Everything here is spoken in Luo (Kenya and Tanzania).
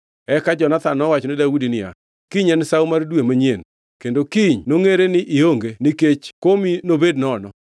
Eka Jonathan nowachone Daudi niya, “Kiny en Sawo mar dwe manyien kendo kiny nongʼere ni ionge nikech komi nobed nono.